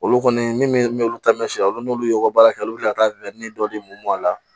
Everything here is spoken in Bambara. Olu kɔni min olu taa mɛ si a la n'olu y'u ka baara kɛ olu ti ka taa dɔ de mun bɔ a la